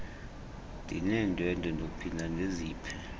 nineendwendwe ndophinda ndiziphe